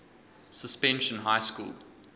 suspension high school